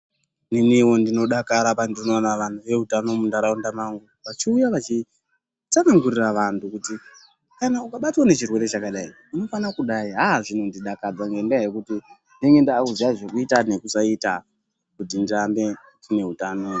Neniwo ndinodakara pandinoona vanhu veutano munharaunda mangu, vachiuya vachitsanangurira vanhu kuti kana ukabatwa ngechirwere chakadai, unofana kudai. Aaaa zvinondidakadza ngendaa yekuti ndinenge ndaakuziya zvekuita nekusaita kuti ndirambe ndine utano.